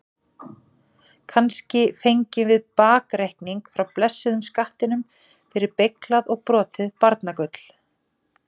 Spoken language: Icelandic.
Kannski fengjum við bakreikning frá blessuðum skattinum fyrir beyglað og brotið barnagull?